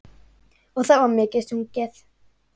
Og það var mikið sungið.